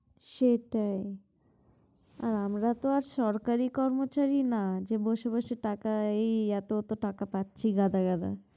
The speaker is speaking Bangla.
সেটাই, আর আমরাতো আর সরকারি কর্মচারী না যে বসে বসে টাকা এই এত এত টাকা পাচ্ছি গাদাগাদা।